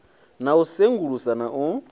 na u sengulusa na u